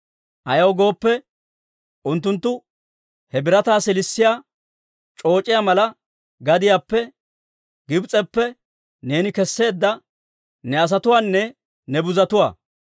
Ayaw gooppe, unttunttu he birataa siilissiyaa c'ooc'iyaa mala gadiyaappe, Gibs'eppe neeni kesseedda ne asatuwaanne ne buzotuwaa.